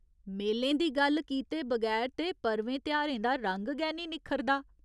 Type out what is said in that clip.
मेलें दी गल्ल कीते बगैर ते पर्वें तेहारें दा रंग गै निं निक्खरदा।